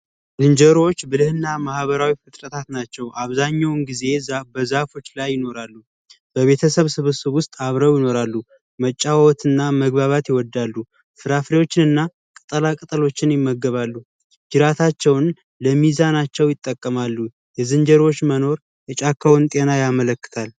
ዝንጀሮዎች ብልህና ማኅበራዊ ፍጥረታት ናቸው። አብዛኛውን ጊዜ በዛፎች ላይ ይኖራሉ። በቤተሰብ ስብስብ ውስጥ አብረው ይኖራሉ። መጫወት እና መግባባት ይወዳሉ፤ ፍራፍሬዎችን እና ቅጠላ ቅጠሎችን ይመገባሉ። ጅራታቸውን ለሚዛናቸው ይጠቀማሉ። የዝንጀሮዎች መኖር የጫካውን ጤና ያመለክታል።